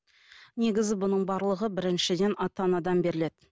негізі бұның барлығы біріншіден ата анадан беріледі